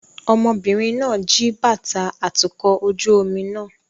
Ọmọbìnrin náà jí bàtà atukọ̀ ojú omi náà